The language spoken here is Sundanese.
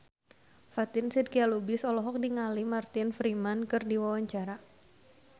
Fatin Shidqia Lubis olohok ningali Martin Freeman keur diwawancara